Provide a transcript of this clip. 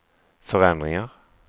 förändringar